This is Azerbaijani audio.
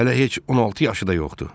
Hələ heç 16 yaşı da yoxdur.